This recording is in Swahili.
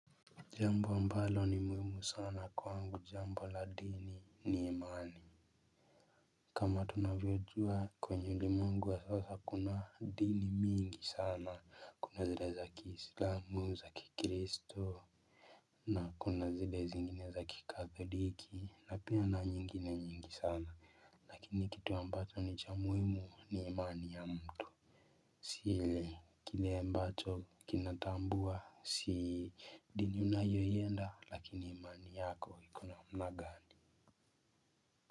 Jambo ambalo ni muhimu sana kwangu jambo la dini ni imani. Kama tunavyojua kwenye ulimwengu wa sasa kuna dini mingi sana kuna zile za kiislamu za kikristo. Na kuna zile zingine za kikatholiki na pia na nyingine nyingi sana. Lakini kitu ambacho ni cha muhimu ni imani ya mtu. Si ile kile ambacho kinatambua si dini unayoienda lakini imani yako iko namna gani.